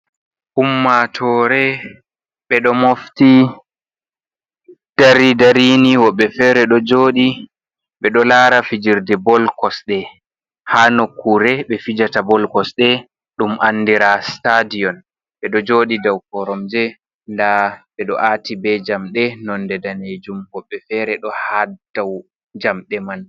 Ummaatoore, ɓe ɗo mofti taari dari nii wobɓe feere ɗo jooɗi ɓe ɗo laara fijirde bol kosde haa nokkuure ɓe fijata bol kosde ɗum andiraa sitaadiyon, ɓe ɗo jooɗi daw koromje ndaa ɓe ɗo aati bee jamɗe noode daneejum, woɓɓe feere ɗo haa daw jamɗe man.